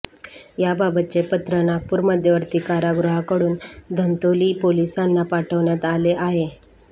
याबाबतचे पत्र नागपूर मध्यवर्ती कारागृहाकडून धंतोली पोलिसांना पाठवण्यात आलं आहे